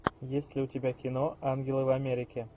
есть ли у тебя кино ангелы в америке